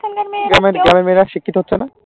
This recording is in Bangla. কেন গ্রামের মেয়েরা শিক্ষিত হচ্ছে না?